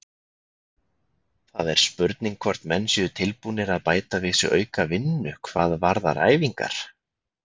Það er spurning hvort menn séu tilbúnir að bæta við sig aukavinnu hvað varðar æfingar.